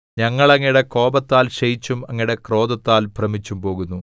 ഞങ്ങൾ അങ്ങയുടെ കോപത്താൽ ക്ഷയിച്ചും അങ്ങയുടെ ക്രോധത്താൽ ഭ്രമിച്ചുംപോകുന്നു